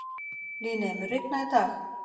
Líney, mun rigna í dag?